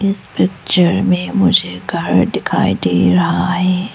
इस पिक्चर में मुझे घर दिखाई दे रहा है।